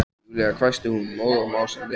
Júlía hvæsti hún móð og másandi.